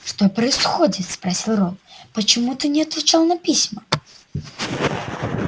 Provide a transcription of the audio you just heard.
что происходит спросил рон почему ты не отвечал на письма